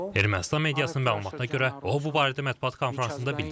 Ermənistan mediasının məlumatına görə o bu barədə mətbuat konfransında bildirib.